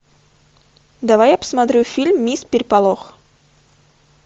давай я посмотрю фильм мисс переполох